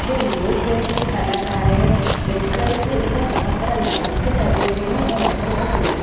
दो लोग बैठ के खाना खा रहे हैं रेस्टोरेंट के ऊपर बहुत सारा लाइट्स पे सजे हुए हैं और रेस्टोरेंट बहुत सुंदर दिख--